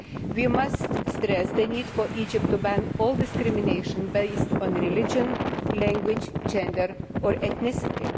We must stress the need for Egypt to ban all discrimination based on religion, language, gender or ethnicity.